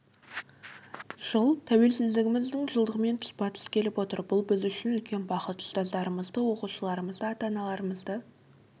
жыл тәуелсіздігіміздің жылдығымен тұспа тұс келіп отыр бұл біз үшін үлкен бақыт ұстаздарымызды оқушыларымызды ата-аналарымызды